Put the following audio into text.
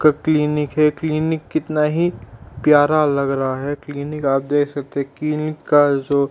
Clinic है clinic कितना ही प्यारा लग रहा है। क्लिनिक आप देख सकते हैं क्लिनिक का जो --